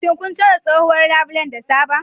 Shin kun canza tsohuwar labule da sabon?